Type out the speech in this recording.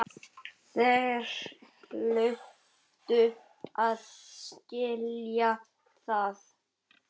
Þeir hlutu að skilja það.